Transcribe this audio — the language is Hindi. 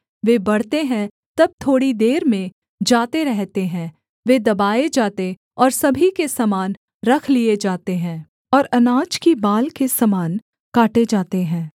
वे बढ़ते हैं तब थोड़ी देर में जाते रहते हैं वे दबाए जाते और सभी के समान रख लिये जाते हैं और अनाज की बाल के समान काटे जाते हैं